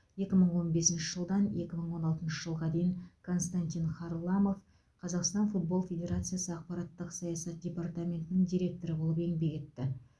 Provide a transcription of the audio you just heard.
екі мың он бесінші жылдан екі мың он алтыншы жылға дейін константин харламов қазақстан футбол федерациясы ақпараттық саясат департаментінің директоры болып еңбек етті